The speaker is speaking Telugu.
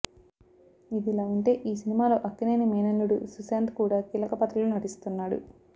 ఇదిలా ఉంటే ఈ సినిమాలో అక్కినేని మేనల్లుడు సుశాంత్ కూడా కీలక పాత్రలో నటిస్తున్నాడు